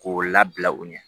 K'o labila u ɲɛ